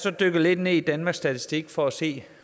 er dykket lidt ned i danmarks statistik for at se